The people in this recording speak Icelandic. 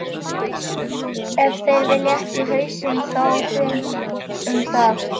Ef þeir vilja ekki hausinn þá þeir um það.